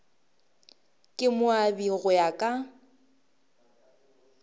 ka moabi go ya ka